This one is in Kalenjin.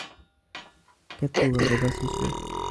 Ket tuga kopa suswek